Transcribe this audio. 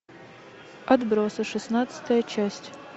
отбросы шестнадцатая часть